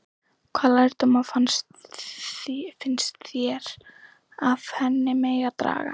Hvaða lærdóma finnst þér af henni megi draga?